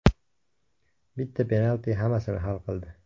Bitta penalti hammasini hal qildi.